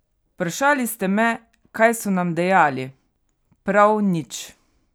Vprašali ste me, kaj so nam dejali, prav nič!